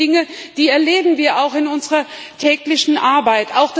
Das sind Dinge, die erleben wir auch in unserer täglichen Arbeit.